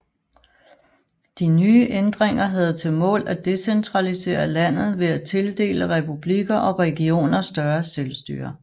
De nye ændringer havde til mål at decentralisere landet ved at tildele republikker og regioner større selvstyre